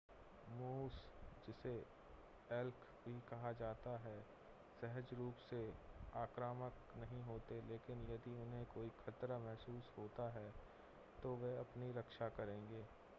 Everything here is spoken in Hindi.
मूस जिसे एल्क भी कहा जाता है सहज रूप से आक्रामक नहीं होते लेकिन यदि उन्हें कोई ख़तरा महसूस होता है तो वे अपनी रक्षा करेंगे